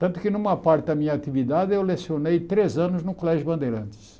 Tanto que numa parte da minha atividade eu lecionei três anos no Colégio Bandeirantes.